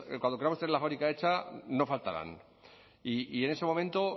cuando queramos tener la fábrica hecha no faltarán y en ese momento